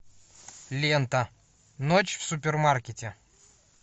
лента ночь в супермаркете